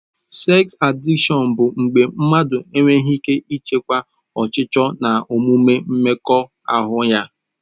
Seks adịkshọn bụ mgbe mmadụ enweghị ike ịchịkwa ọchịchọ na omume mmekọahụ ya.